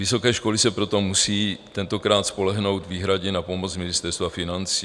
Vysoké školy se proto musejí tentokrát spolehnout výhradně na pomoc Ministerstva financí.